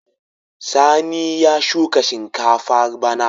Sani ya shuka shinkafa bana.